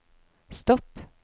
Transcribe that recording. stopp